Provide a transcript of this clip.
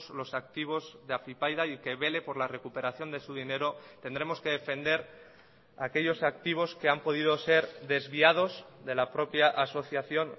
los activos de afypaida y que vele por la recuperación de su dinero tendremos que defender a aquellos activos que han podido ser desviados de la propia asociación